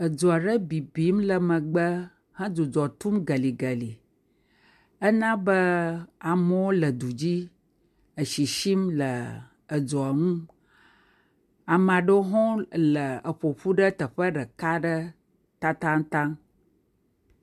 Dzo aɖe bibim le megbe hedzidzɔ tum geligeli. Ena be amewo le du dzi esisim le dzoa ŋu, ame aɖewo hã ƒo ƒu ɖe teƒe aɖe tatataŋ.